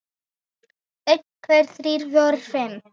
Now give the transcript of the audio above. einn. tveir. þrír. fjórir. fimm.